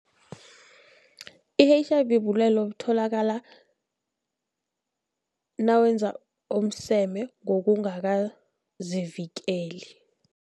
I-H_I_V bulwele obutholakala nawenza umseme ngokungakazivikeli.